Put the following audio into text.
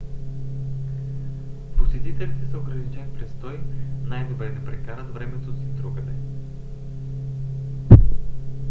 посетителите с ограничен престой най-добре да прекарат времето си другаде